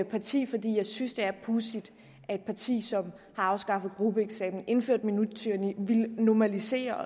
parti fordi jeg synes at det er pudsigt at et parti som har afskaffet gruppeeksamen indført minuttyranni villet normalisere